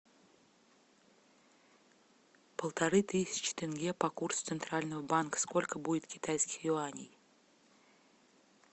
полторы тысячи тенге по курсу центрального банка сколько будет китайских юаней